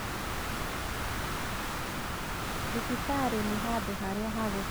Thibitarĩnĩhandũ harĩa ha gũtangĩkĩra arwaru.